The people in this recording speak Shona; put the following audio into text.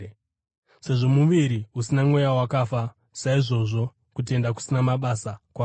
Sezvo muviri usina mweya wakafa, saizvozvo kutenda kusina mabasa kwakafa.